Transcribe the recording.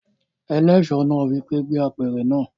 Eléso náà wí pé "gbé apẹ̀rẹ̀ náà!"